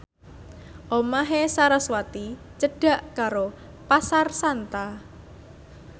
omahe sarasvati cedhak karo Pasar Santa